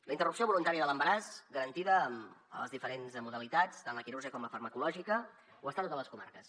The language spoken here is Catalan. la interrupció voluntària de l’embaràs garantida en les diferents modalitats tant la quirúrgica com la farmacològica ho està a totes les comarques